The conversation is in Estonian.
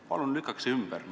Palun lükake see ümber!